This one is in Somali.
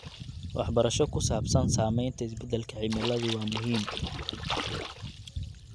Waxbarasho ku saabsan saamaynta isbeddelka cimiladu waa muhiim.